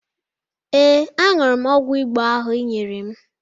Ee, aṅụrụ m ọgwụ Igbo ahụ ị nyere m